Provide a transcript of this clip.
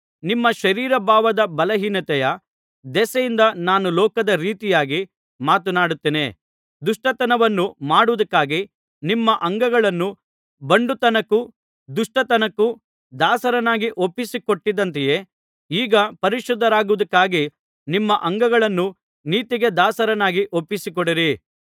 ನಿಮ್ಮ ಶರೀರ ಭಾವದ ಬಲಹೀನತೆಯ ದೆಸೆಯಿಂದ ನಾನು ಲೋಕದ ರೀತಿಯಾಗಿ ಮಾತನಾಡುತ್ತೇನೆ ದುಷ್ಟತನವನ್ನು ಮಾಡುವುದಕ್ಕಾಗಿ ನಿಮ್ಮ ಅಂಗಗಳನ್ನು ಬಂಡುತನಕ್ಕೂ ದುಷ್ಟತನಕ್ಕೂ ದಾಸರನ್ನಾಗಿ ಒಪ್ಪಿಸಿ ಕೊಟ್ಟಿದ್ದಂತೆಯೇ ಈಗ ಪರಿಶುದ್ಧರಾಗುವುದಕ್ಕಾಗಿ ನಿಮ್ಮ ಅಂಗಗಳನ್ನು ನೀತಿಗೆ ದಾಸರನ್ನಾಗಿ ಒಪ್ಪಿಸಿಕೊಡಿರಿ